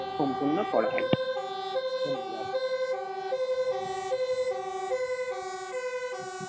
সম্পূর্ণ করা হবে ধন্যবাদ